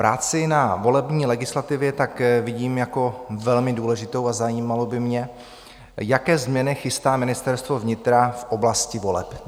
Práci na volební legislativě tak vidím jako velmi důležitou a zajímalo by mě, jaké změny chystá Ministerstvo vnitra v oblasti voleb.